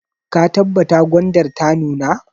Ka tabbata gwandar ta nuna!